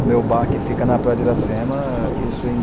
O meu bar que fica na Praia de Racema, isso em